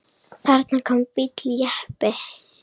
Þarna kom bíll, jeppi.